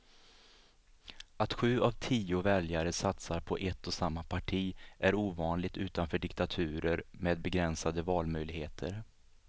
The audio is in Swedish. Att sju av tio väljare satsar på ett och samma parti är ovanligt utanför diktaturer med begränsade valmöjligheter.